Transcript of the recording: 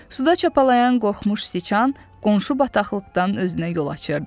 Suda çapalıyan qorxmuş siçan qonşu bataqlıqdan özünə yol açırdı.